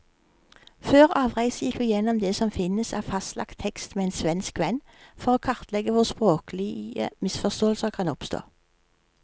Før avreise gikk vi gjennom det som finnes av fastlagt tekst med en svensk venn, for å kartlegge hvor språklige misforståelser kan oppstå.